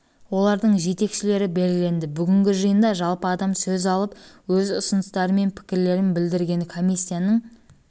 олардың жетекшілері белгіленді бүгінгі жиында жалпы адам сөз алып өз ұсыныстары мен пікірлерін білдірген комиссияның